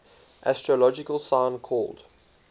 astrological sign called